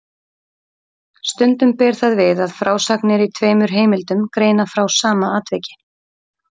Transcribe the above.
Stundum ber það við að frásagnir í tveimur heimildum greina frá sama atviki.